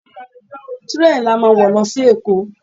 Tírèènì la máa wo lọ sí èkó.